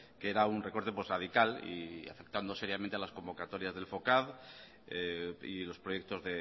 que era un recorte radical y afectando seriamente a las convocatorias del focad y los proyectos